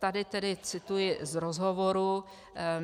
Tady tedy cituji z rozhovoru.